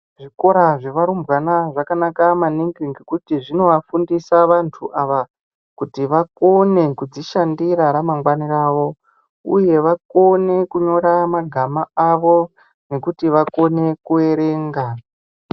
Zvikora zvevarumbwana zvakanaka maningi ngekuti zvinovafundisa vantu ava kuti vakone kudzishandira ramangwani ravo uye vakone kunyora magama avo nekuti vakone kuerenga.